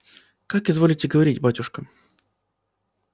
как изволите говорить батюшка